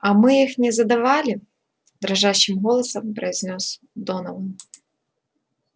а мы их не задавили дрожащим голосом произнёс донован